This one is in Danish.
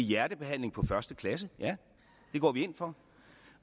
hjertebehandling på første klasse ja det går vi ind for